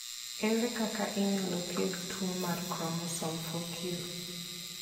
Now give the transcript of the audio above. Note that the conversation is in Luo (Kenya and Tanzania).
Ere kaka inyalo thiedh tuwo mar chromosome 4q?